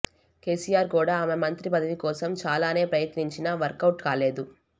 కేసీఆర్ కూడా ఆమె మంత్రి పదవి కోసం చాలానే ప్రయత్నించినా వర్కౌట్ కాలేదు